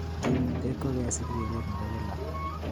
kimnatet kokesir keret Nepo kila